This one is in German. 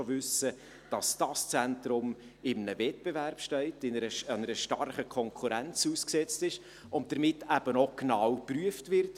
Wir wissen heute schon, dass dieses Zentrum im Wettbewerb steht, einer starken Konkurrenz ausgesetzt ist, und deshalb vom Bund auch genau geprüft wird.